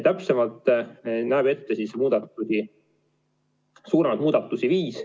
Täpsemalt on suuremaid muudatusi ette nähtud viis.